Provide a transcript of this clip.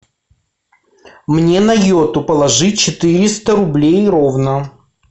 мне на йоту положи четыреста рублей ровно